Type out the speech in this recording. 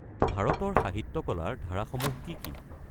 ভাৰতৰ সাহিত্য কলাৰ ধাৰাসমূহ কি কি?